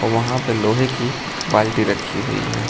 वहां पे लोहे की बाल्टी रखी हुई है।